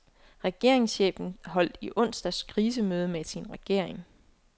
Regeringschefen holdt i onsdags krisemøde med sin regering.